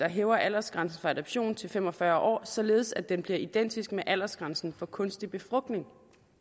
hæver aldersgrænsen for adoption til fem og fyrre år således at den bliver identisk med aldersgrænsen for kunstig befrugtning